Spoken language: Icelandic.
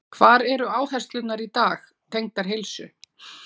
Hvar eru áherslurnar í dag, tengdar heilsu?